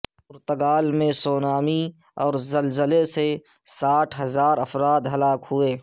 پرتگال میں سونامی اور زلزلے سے ساٹھ ہزار افراد ہلاک ہوئے